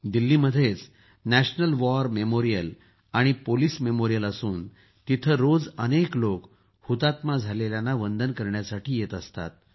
दिल्लीमध्येच राष्ट्रीय युद्ध स्मारक संग्रहालय आमि पोलिस स्मारक असून तेथे रोज अनेक लोक हुतात्मा झालेल्यांना वंदन करण्यासाठी येत असतात